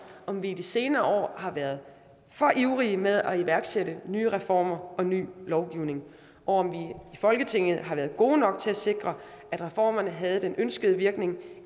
om vi i de senere år har været for ivrige med at iværksætte nye reformer og ny lovgivning og om vi i folketinget har været gode nok til at sikre at reformerne havde den ønskede virkning